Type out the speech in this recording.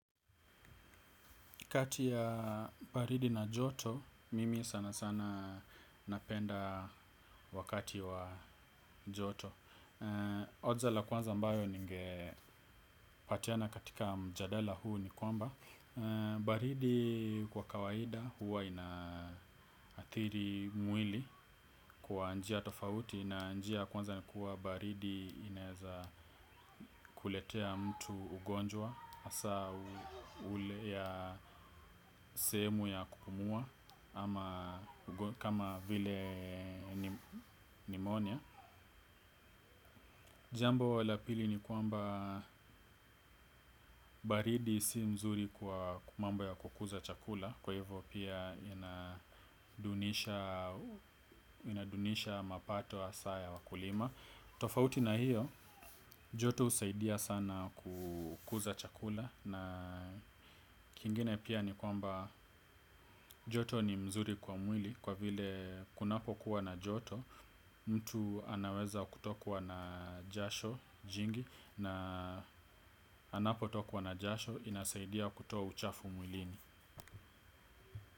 Kati ya baridi na joto, mimi sana sana napenda wakati wa joto hoja la kwanza ambayo ningepatiana katika mjadala huu ni kwamba baridi kwa kawaida huwa inaathiri mwili kwa njia tofauti. Na njia kwanza ni kuwa baridi inaeza kuletea mtu ugonjwa hasa ule ya sehemu ya kupumua. Ama kama vile nimonia. Jambo la pili ni kwamba baridi si mzuri kwa mambo ya kukuza chakula. Kwa hivyo pia inadunisha mapato hasa ya wakulima. Tofauti na hiyo, joto husaidia sana kukuza chakula. Na kingine pia ni kwamba joto ni mzuri kwa mwili kwa vile kunapo kuwa na joto. Mtu anaweza kutokuwa na jasho jingi na anapo tokwa na jasho inasaidia kutoa uchafu mwilini.